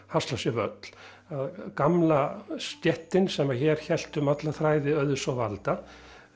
hasla sér völl að gamla stéttin sem hér hélt um alla þræði auðs og valda